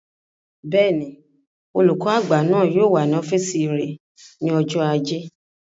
Bẹ́ẹ̀ni, olùkọ́ àgbà náà yóò wà ní ọ́fìsì rẹ̀ ní ọjọ́ ajé